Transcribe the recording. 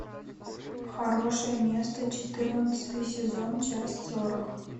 хорошее место четырнадцатый сезон часть сорок